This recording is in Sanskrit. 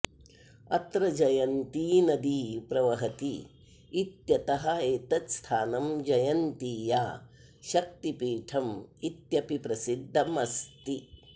अत्र जयन्ती नदी प्रवहति इत्यतः एतत् स्थानं जयन्तीया शक्तिपीठम् इत्यपि प्रसिद्धम् अस्ति